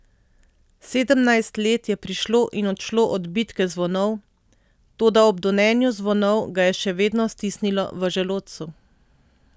Sedemnajst let je prišlo in odšlo od bitke zvonov, toda ob donenju zvonov ga je še vedno stisnilo v želodcu.